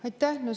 Aitäh!